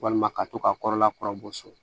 Walima ka to ka kɔrɔla kɔrɔ so